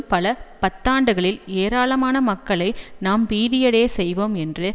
பல பத்தாண்டுகளில் ஏராளமான மக்களை நாம் பீதியடைய செய்வோம் என்று